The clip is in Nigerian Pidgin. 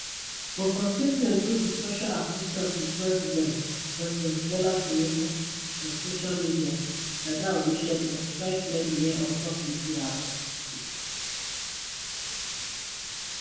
but for statement wey di special assistant to president president bola tinubu on social media dada olusegun try clear di air on top wetin happun